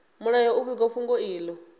mulayo u vhiga fhungo ilo